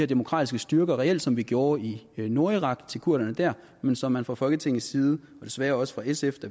demokratiske styrker reelt som vi gjorde i nordirak til kurderne der men som man fra folketingets side og desværre også fra sfs